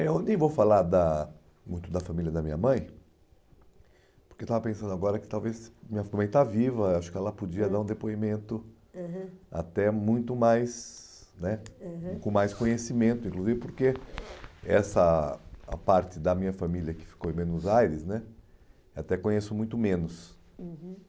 Eu nem vou falar da muito da família da minha mãe, porque eu estava pensando agora que talvez minha mãe está viva, acho que ela podia dar um depoimento, aham, até muito mais né, aham, com mais conhecimento, inclusive porque essa a parte da minha família que ficou em Buenos Aires né, até conheço muito menos. Uhum.